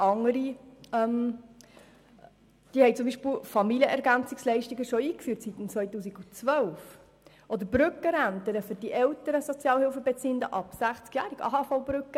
Andere Kantone haben bereits seit dem Jahr 2012 Familienergänzungsleistungen oder für die älteren Sozialhilfebeziehenden ab 60jährig Brückenrenten eingeführt.